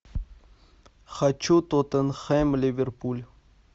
хочу тоттенхэм ливерпуль